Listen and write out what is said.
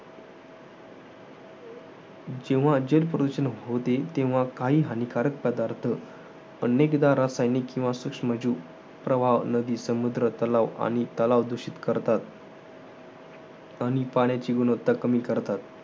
जेव्हा जलप्रदूषण होते, तेव्हा काही हानिकारक पदार्थ. अनेकदा रासायनिक किंवा सुक्षम्जीव प्रवाह, नदी, समुद्र, तलाव आणि तलाव दुषित करतात. आणि पाण्याची गुणवत्ता कमी करतात.